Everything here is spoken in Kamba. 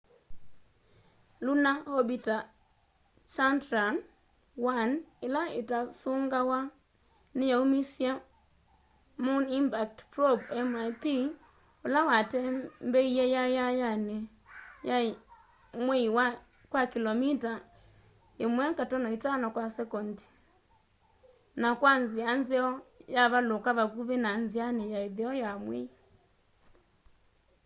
lunar orbiter chandrayaan-1 ila itasungawa niyaumisye moon impact probe mip ula watembeie yayayani ya mwei kwa kilomita 1.5 kwa sekondi maili 3000 kwa isaa na kwa nzia nzeo yavaluka vakuvi na nziani ya itheo ya mwei